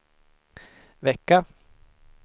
vecka